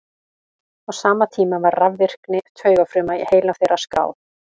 á sama tíma var rafvirkni taugafruma í heila þeirra skráð